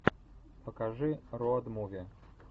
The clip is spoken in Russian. покажи роад муви